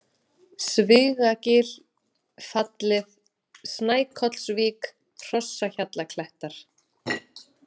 Svigagil, Fallið, Snækollsvík, Hrossahjallaklettar